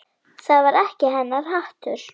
Það var ekki hennar háttur.